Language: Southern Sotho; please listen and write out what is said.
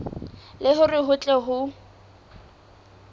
le hore ho tle ho